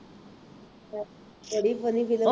ਹਾਂ ਬੜੀ funny ਸੀਗੀ